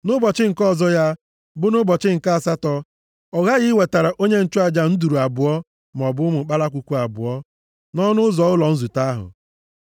Nʼụbọchị nke ọzọ ya, bụ nʼụbọchị nke asatọ. Ọ ghaghị iwetara onye nchụaja nduru abụọ maọbụ ụmụ kpalakwukwu abụọ, nʼọnụ ụzọ ụlọ nzute ahụ.